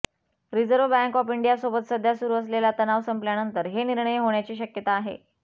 reserve Bank of इंडियासोबत सध्या सुरु असलेला तणाव संपल्यानंतर हे निर्णय होण्याची शक्यता आहे